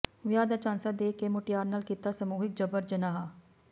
ਵਿਆਹ ਦਾ ਝਾਂਸਾ ਦੇ ਕੇ ਮੁਟਿਆਰ ਨਾਲ ਕੀਤਾ ਸਮੂਹਿਕ ਜਬਰ ਜਨਾਹ